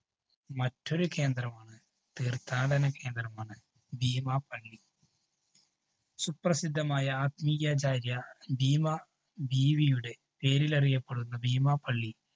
മറ്റൊരു കേന്ദ്രമാണ് തീര്‍ഥാടന കേന്ദ്രമാണ് ഭീമാപള്ളി. സുപ്രസിദ്ധമായ ആത്മീയാചാര്യ ഭീമ ബീവിയുടെ പേരിലറിയപ്പെടുന്ന ഭീമ പള്ളി